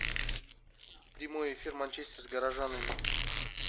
прямой эфир манчестер с горожанами